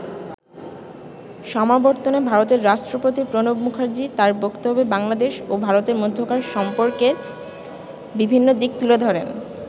সমাবর্তনে ভারতের রাষ্ট্রপতি প্রণব মুখার্জি তার বক্তব্যে বাংলাদেশ ও ভারতের মধ্যকার সম্পর্ককের বিভিন্ন দিক তুলে ধরেন।